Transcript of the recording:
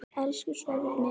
Elsku Sverrir minn.